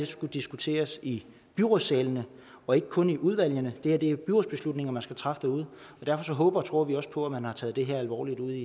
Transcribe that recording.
skulle diskuteres i byrådssalene og ikke kun i udvalgene det her er byrådsbeslutninger man skal træffe derude og derfor håber og tror vi også på at man har taget det her alvorligt ude